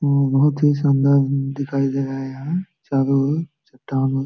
बहुत ही सुन्दर दिखाई दे रहा है यहाँ चारों ओर चट्टान --